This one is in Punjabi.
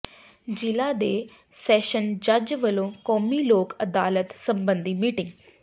ਜ਼ਿਲ੍ਹਾ ਤੇ ਸੈਸ਼ਨ ਜੱਜ ਵੱਲੋਂ ਕੌਮੀ ਲੋਕ ਅਦਾਲਤ ਸਬੰਧੀ ਮੀਟਿੰਗ